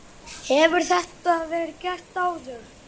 Hefur þetta verið gert áður?